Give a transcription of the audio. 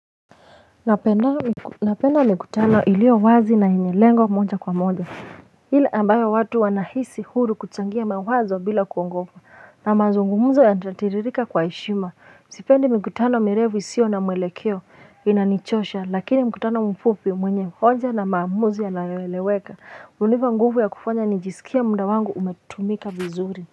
Napenda mikutano ilio wazi na yenye lengo moja kwa moja ile ambayo watu wanahisi huru kuchangia mawazo bila kuongofa na mazungumuzo ya natiririka kwa heshima sipendi mikutano mirefu isio na mwelekeo inanichosha lakini mkutano mfupi mwenye hoja na maamuzi yanayoeleweka unipa nguvu ya kufanya nijiskie muda wangu umetumika vizuri.